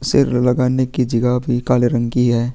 सिर लगाने की जगह भी काले रंग की है।